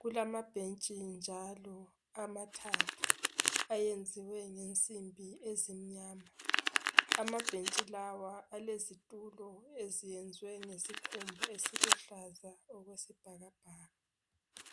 Kulamabhentshi njalo amathathu ayenziwe ngensimbi ezimnyama. Amabhentshi lawa alezitulo eziyenzwe ngesikhumba esiluhlaza okwesibhakabhaka.